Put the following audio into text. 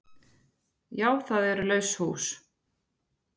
Já það eru laus hús.